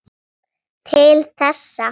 Til þessa.